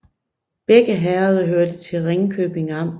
Begge herreder hørte til Ringkøbing Amt